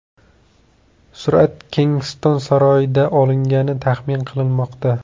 Surat Kensington saroyida olingani taxmin qilinmoqda.